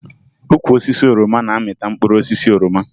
Ukwu osisi oroma na-amịta mkpụrụ osisi oroma